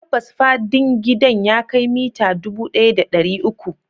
Tabbas fadin gidan ya kai mita dubu ɗaya da ɗari uku.